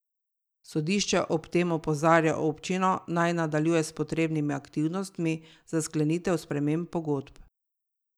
Sodišče ob tem opozarja občino, naj nadaljuje s potrebnimi aktivnostmi za sklenitev sprememb pogodb.